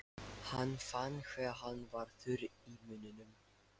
Hann fann hve hann var þurr í munninum.